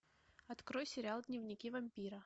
открой сериал дневники вампира